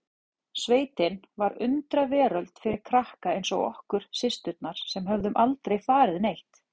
Sveitin var undraveröld fyrir krakka eins og okkur systurnar sem höfðum aldrei farið neitt.